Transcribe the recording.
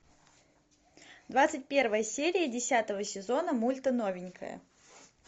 двадцать первая серия десятого сезона мульта новенькая